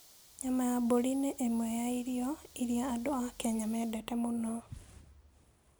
Nyama ya mbũri nĩ ĩmwe ya irio iria andũ a Kenya mendete mũno.